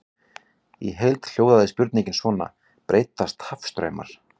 Í heild hljóðaði spurningin svona: Breytast hafstraumar?